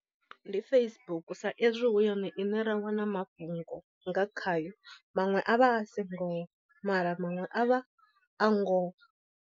Ndi Facebook sa ezwi hu yone ine ra wana mafhungo nga khayo maṅwe a vha a si ngoho mara maṅwe a vha a ngoho.